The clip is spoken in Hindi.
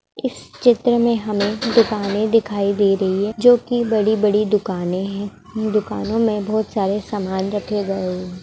इस चित्र में हमें दुकानें दिखाई दे रही है जो कि बड़ी-बड़ी दुकाने हैं दुकानों में बहुत सारे सामान रखे गए है।